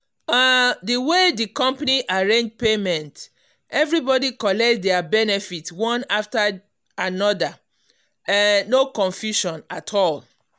um the way the company arrange payment everybody collect their benefit one after another um no confusion at all.